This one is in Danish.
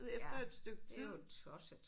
Ja det er jo tosset